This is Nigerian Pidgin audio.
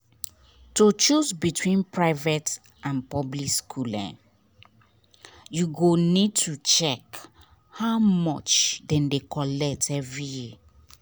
to choose between private and public school you go need to check how much dem dey collect every year.